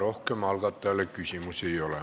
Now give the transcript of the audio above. Rohkem algatajale küsimusi ei ole.